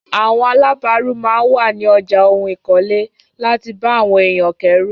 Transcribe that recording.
Àwọn alábàrù máa n wà ni ọjà ohun ìkọ́lé láti bà àwọn èyàn kérù.